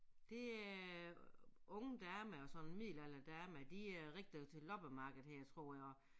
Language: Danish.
Det øh unge damer og sådan middelalderdamer de er rigtig til loppemarked her tror jeg